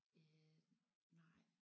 Øh nej